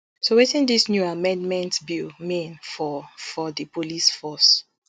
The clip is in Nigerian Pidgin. so wetin dis new amendment bill mean for for di police force